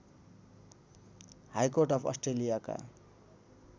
high court of अस्ट्रेलियाका